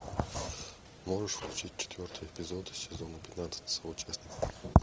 можешь включить четвертый эпизод сезона пятнадцать соучастники